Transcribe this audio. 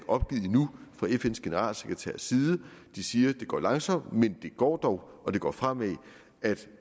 opgivet endnu fra fns generalsekretærs side de siger at det går langsomt men det går dog og det går fremad